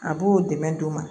A b'o dɛmɛ d'u ma